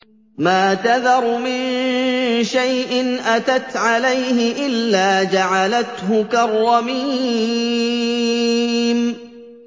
مَا تَذَرُ مِن شَيْءٍ أَتَتْ عَلَيْهِ إِلَّا جَعَلَتْهُ كَالرَّمِيمِ